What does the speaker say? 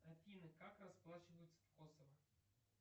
афина как расплачиваются в косово